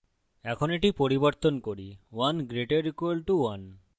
এখন এটি পরিবর্তন করি 1> = 1